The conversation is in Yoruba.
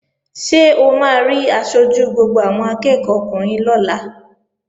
Ṣé o máa rí aṣojú gbogbo àwọn akẹ́ẹ̀kọ́ ọkùnrin lọ́la?